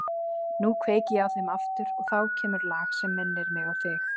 Nú kveiki ég á þeim aftur og þá kemur lag sem minnir mig á þig.